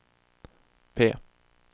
P